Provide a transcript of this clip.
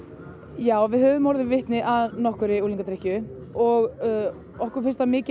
já við höfum orðið vitni að nokkurri unglingadrykkju og okkur finnst það mikið